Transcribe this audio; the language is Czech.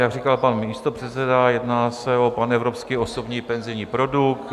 Jak říkal pan místopředseda, jedná se o panevropský osobní penzijní produkt.